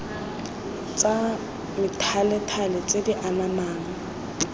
tsa methalethale tse di anamang